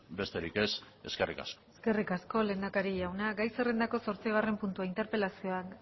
besterik ez eskerrik asko eskerrik asko lehendakari jauna gai zerrendako zortzigarren puntua interpelazioa